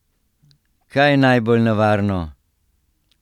Kaj je najbolj nevarno?